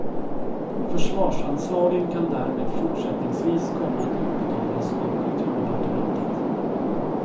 Försvarsanslagen kan därmed fortsättningsvis komma att utbetalas av kulturdepartementet.